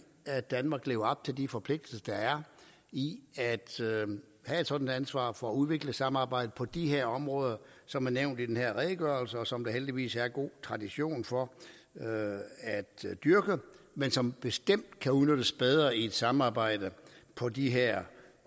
at danmark lever op til de forpligtelser der er i at have et sådant ansvar for at udvikle samarbejdet på de områder som er nævnt i den her redegørelse og som der heldigvis er god tradition for at dyrke men som bestemt kan udnyttes bedre i et samarbejde på de her